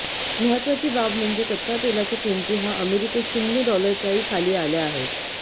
महत्वाची बाब म्हणजे कच्च्या तेलाच्या किमती हा अमेरिकेत शुन्य डॉलरच्याही खाली आल्या आहेत